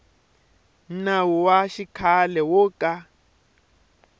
nawu wa xikhale wo ka